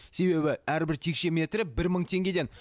себебі әрбір текше метрі бір мың теңгеден